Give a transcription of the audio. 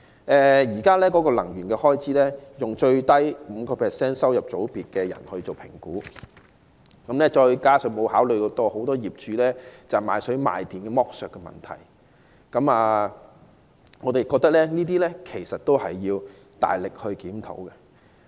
現時能源開支是以收入最低的 5% 的人來評估，也沒有考慮很多業主賣水、賣電的剝削問題，我們認為這些均有需要大力檢討。